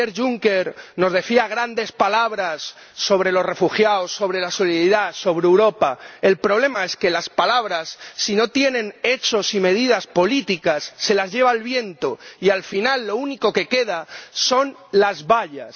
Ayer Juncker pronunciaba grandes palabras sobre los refugiados, sobre la solidaridad, sobre Europa. El problema es que las palabras, si no se materializan en hechos y medidas políticas, se las lleva el viento y, al final, lo único que queda son las vallas.